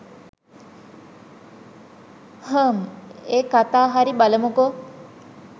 හ්ම් ඒ කතා හරි බලමුකෝ